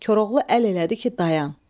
Koroğlu əl elədi ki, dayan.